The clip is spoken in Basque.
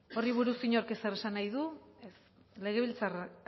horri buruz inork ezer esan nahi badu